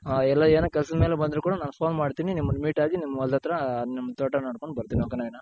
ಹ ಹ ಎಲ್ಲ ಏನೇ ಕೆಲಸದ್ ಮೇಲೆ ಬಂದ್ರು ಕೂಡ ನಾನ್ phone ಮಾಡ್ತಿನಿ ನಿಮನ್ meet ಆಗಿ ನಿಮ್ ಹೊಲ್ದತ್ರ ನಿಮ್ ತೋಟ ನೋಡ್ಕೊಂಡ್ ಬರ್ತೀನಿ ok ನವೀನ.